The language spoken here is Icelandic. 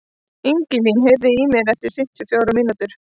Ingilín, heyrðu í mér eftir fimmtíu og fjórar mínútur.